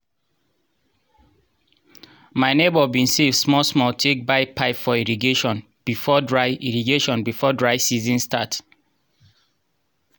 my neighbour bin save small small take buy pipe for irrigation before dry irrigation before dry season start